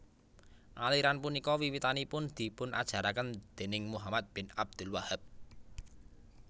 Aliran punika wiwitanipun dipunajaraken déning Muhammad bin Abdul Wahhab